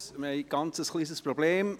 Wir haben ein kleines Problem.